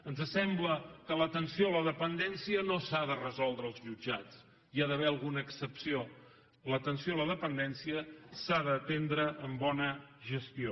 ens sembla que l’atenció a la dependència no s’ha de resoldre als jutjats hi ha d’haver alguna excepció l’atenció a la dependència s’ha d’atendre amb bona gestió